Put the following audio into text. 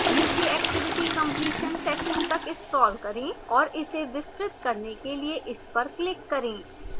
नीचे activity completion section तक scroll करें और इसे विस्तृत करने के लिए इस पर click करें